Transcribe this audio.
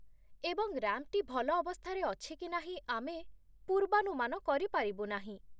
ଏବଂ ରାମ୍ପଟି ଭଲ ଅବସ୍ଥାରେ ଅଛି କି ନାହିଁ ଆମେ ପୂର୍ବାନୁମାନ କରିପାରିବୁ ନାହିଁ।